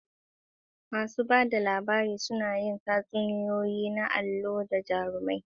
Masu ba da labari suna yin tatsuniyoyi na alloli da jarumai, labarinsu ya cika da kwatankwacin lamba.